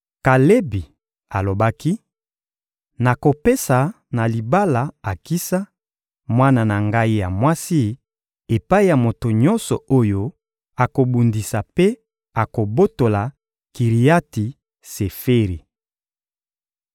Kalebi alobaki: «Nakopesa na libala Akisa, mwana na ngai ya mwasi, epai ya moto nyonso oyo akobundisa mpe akobotola Kiriati-Seferi.»